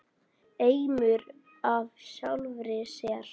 Eimur af sjálfri sér.